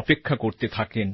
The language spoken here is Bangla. অপেক্ষা করতে থাকেন